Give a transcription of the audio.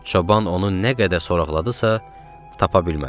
Çoban onu nə qədər soraqladısa, tapa bilmədi.